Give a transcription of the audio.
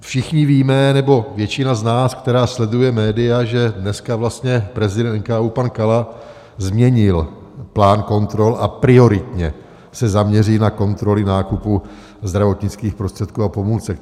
Všichni víme, nebo většina z nás, která sleduje média, že dneska vlastně prezident NKÚ pan Kala změnil plán kontrol a prioritně se zaměří na kontroly nákupů zdravotnických prostředků a pomůcek.